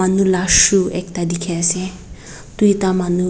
manu la shoe ekta dikhi ase duita manu.